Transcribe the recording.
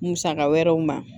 Musaka wɛrɛw ma